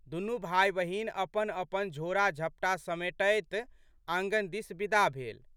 दुनू भाइबहिन अपनअपन झोड़ाझपटा समेटैत आँगन दिस बिदा भेल।